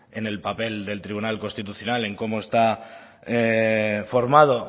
en el papel del tribunal constitucional en cómo está formado